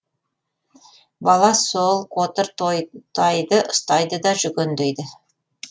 бала сол қотыр тайды ұстайды да жүгендейді